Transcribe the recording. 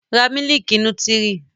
Ra mílìkì nútírì!